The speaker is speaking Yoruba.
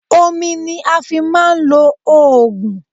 Omi ni a fi ń máa ń lo òògùn.